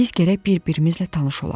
Biz gərək bir-birimizlə tanış olaq.